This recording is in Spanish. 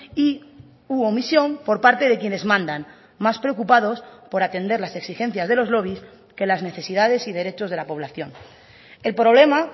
y u omisión por parte de quienes mandan más preocupados por atender las exigencias de los lobbies que las necesidades y derechos de la población el problema